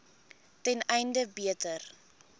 ten einde beter